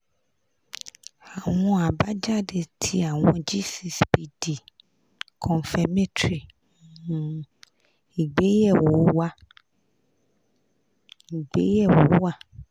awọn abajade ti awọn g six pd confirmatory um igbeyewo wà ** igbeyewo wà ** zero